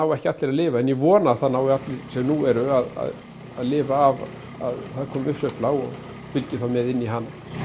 ekki allir að lifa en ég vona að það nái allir sem nú eru að lifa af að það komi uppsveifla og fylgi þá með inn í hana